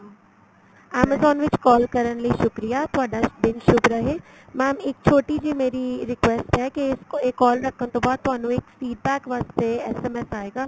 amazon ਵਿੱਚ call ਕਰਨ ਲਈ ਸ਼ੁਕਰੀਆ ਤੁਹਾਡਾ ਦਿਨ ਸ਼ੁਭ ਰਹੇ mam ਇੱਕ ਛੋਟੀ ਜੀ ਮੇਰੀ request ਏ ਕੀ ਇਹ call ਰੱਖਣ ਤੋ ਬਾਅਦ ਤੁਹਾਨੂੰ ਇੱਕ feed back ਵਾਸਤੇ SMS ਆਏਗਾ